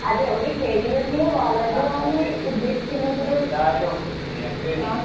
അതെ ഒര് കരിയറില് വളരുകാന്ന് ഉദ്ദേശിക്കുന്നത് ആഹ്